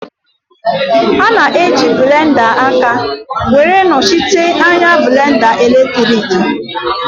A na-eji blenda aka were nọchite anya blenda eletriki